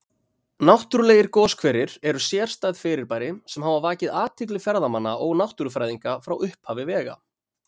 Náttúrlegir goshverir eru sérstæð fyrirbæri sem hafa vakið athygli ferðamanna og náttúrufræðinga frá upphafi vega.